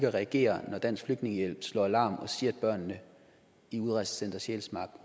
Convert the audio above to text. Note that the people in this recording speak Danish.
at reagere når dansk flygtningehjælp slår alarm og siger at børnene i udrejsecenter sjælsmark